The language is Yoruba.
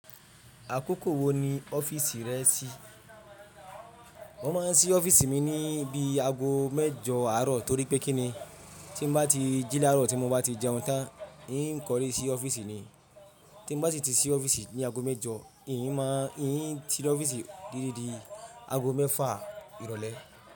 Àkókò wo ni ọ́fíìsì rẹ ṣí? Won máa ń ṣí ọ́fíìsì mi ni bí i ago mẹ́jọ àárọ̀ torí pé kí ni tí n bá ti jí lárò, tí mo bá ti jẹun tán, ń kọrírí ṣí ọ́fíìsì ni. Tí n bá ti ṣí ọ́fíìsì ní ago mẹ́jọ, ń máa tí ọ́fíìsì titidi ago mẹ́fà ìrọ̀lẹ́.